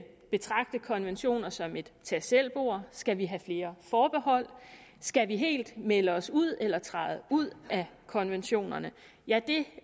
betragte konventioner som et tag selv bord skal vi have flere forbehold skal vi helt melde os ud eller træde ud af konventionerne ja det